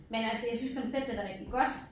Men altså jeg synes konceptet er rigtig godt